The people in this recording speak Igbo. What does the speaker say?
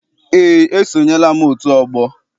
Eé, esonyela m otu ọgbọ.